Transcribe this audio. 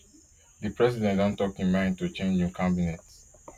di president don don tok im mind to change im cabinet